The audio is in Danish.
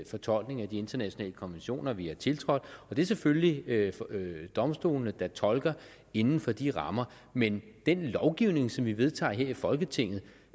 fortolkning af de internationale konventioner vi har tiltrådt og det er selvfølgelig domstolene der tolker inden for de rammer men den lovgivning som vi vedtager her i folketinget